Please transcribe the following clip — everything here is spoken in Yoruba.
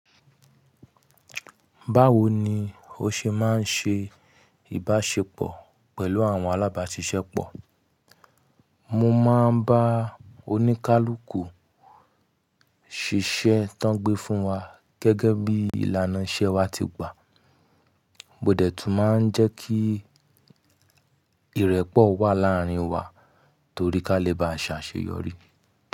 Báwo ni ó ṣe máa ń ṣe ìbáṣepọ̀ pẹ̀lú àwọn alábàáṣiṣẹ́ pọ̀? Mo máa ń bá oníkálukú ṣiṣẹ́ tán gbé fún wa gẹ́gẹ́ bí ìlànà iṣẹ́ wa ti gbà. Mo dẹ̀ tún máa ń jẹ́ kí ìrẹ́pọ̀ wà láàárín wa torí ká lè bá ṣe àṣeyọrí.